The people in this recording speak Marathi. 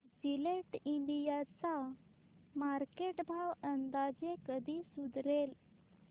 जिलेट इंडिया चा मार्केट भाव अंदाजे कधी सुधारेल